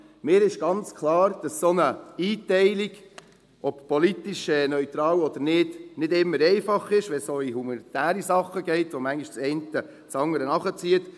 Mir ist ganz klar, dass eine solche Einteilung, ob politisch neutral oder nicht, nicht immer einfach ist, wenn es auch um humanitäre Dinge geht, wo das eine manchmal das andere nach sich zieht.